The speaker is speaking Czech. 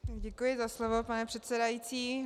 Děkuji za slovo, pane předsedající.